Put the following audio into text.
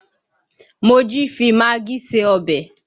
Mojí fi magí se ọbẹ̀